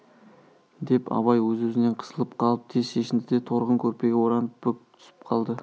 деп абай өз-өзінен қысылып қалып тез шешінді де торғын көрпеге оранып бүк түсіп қалды